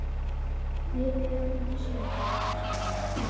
Við björgum þessu öllu saman.